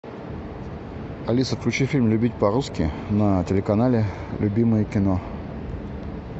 алиса включи фильм любить по русски на телеканале любимое кино